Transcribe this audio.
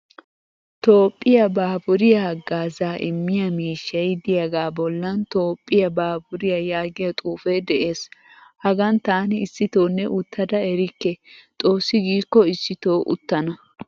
Toophphiyaa baaburiyaa haggaazza immiya miishshay de'iyaga bollan toophphiyaa baaburiya yaagiyaa xuufee de'ees. Hagaan taani issitonne uttada erikke. Xoossi gikko issito uttana.